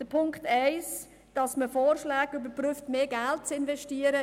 Zu Punkt 1, wonach man Vorschläge überprüft, um mehr Geld zu investieren: